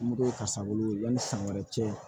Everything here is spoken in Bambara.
Mugu ka sangolon yanni san wɛrɛ cɛ